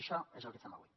això és el que fem avui